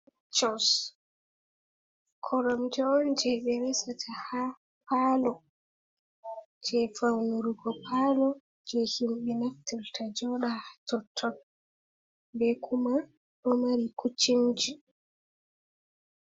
Koromje on jei be resata ha paalo, jei faunu go paalo jei himɓe naftirta jooda hatotton be kuma do mari kuccinji.